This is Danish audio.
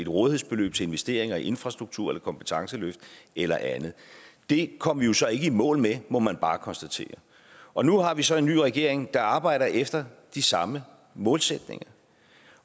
rådighedsbeløb til investeringer i infrastruktur eller kompetenceløft eller andet det kom vi jo så ikke i mål med må man bare konstatere og nu har vi så en ny regering der arbejder efter de samme målsætninger